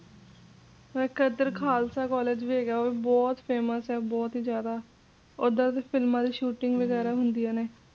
ਹਾਂ ਜੀ ਇਧਰ ਤਾਂ ਖ਼ਾਲਸਾ ਕਾਲਜ ਵੀ ਹੈਗਾ ਉਹ ਵੀ ਬਹੁਤ famous ਏ ਬਹੁਤ ਈ ਜ਼ਿਆਦਾ ਓਧਰ ਫਿਲਮਾਂ ਦੀ ਸ਼ੂਟਿੰਗਾਂ ਵਗੈਰਾਂ ਹੁੰਦੀਆਂ ਨੇ